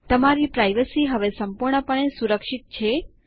તમારી પ્રાઇવસી હવે સંપૂર્ણપણે સુરક્ષિત છે